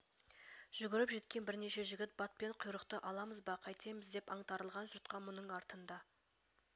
жүгіріп жеткен бірнеше жігіт батпан құйрықты аламыз ба қайтеміз деп аңтарылған жұртқа мұның артында